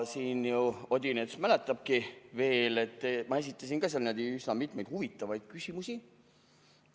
Odinets mäletabki veel, et ma esitasin seal üsna mitmeid huvitavaid küsimusi.